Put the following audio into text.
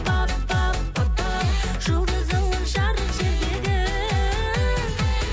пап пап папау жұлдызыңмын жарық жердегі